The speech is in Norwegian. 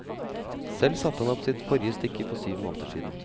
Selv satte han opp sitt forrige stykke for syv måneder siden.